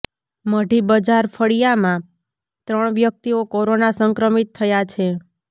મઢી બજાર ફળિયામાં ત્રણ વ્યક્તિઓ કોરોના સંક્રમિત થયા છે